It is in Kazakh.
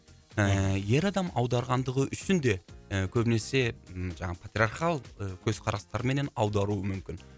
ііі ер адам аударғандығы үшін де і көбінесе м жаңағы патриархалдық і көзқарастармен аударуы мүмкін